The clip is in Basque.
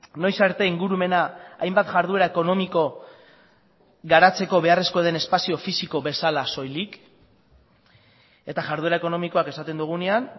noiz arte ingurumena hainbat jarduera ekonomiko garatzeko beharrezkoa den espazio fisiko bezala soilik eta jarduera ekonomikoak esaten dugunean